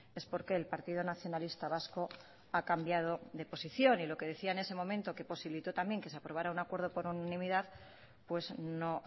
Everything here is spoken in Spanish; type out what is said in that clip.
es porqué el partido nacionalista vasco ha cambiado de posición y lo que decía en ese momento que posibilitó también que se aprobara un acuerdo por unanimidad pues no